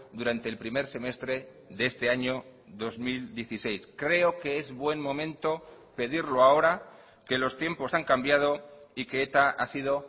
durante el primer semestre de este año dos mil dieciséis creo que es buen momento pedirlo ahora que los tiempos han cambiado y que eta ha sido